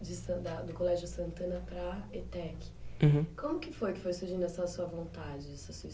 do Colégio Santana para a ETEC. Uhum. Como que foi que foi surgindo essa sua vontade, essa sua